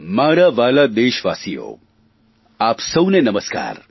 મારા વ્હાલા દેશવાસીઓ આપ સૌને નમસ્કાર